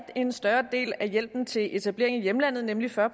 en større del af hjælpen til etablering i hjemlandet nemlig fyrre